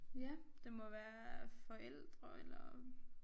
Ja det må være forældre eller